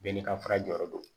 Bɛɛ n'i ka fara jɔyɔrɔ do